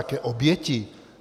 Jaké oběti?